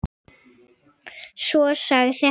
Svo sagði hann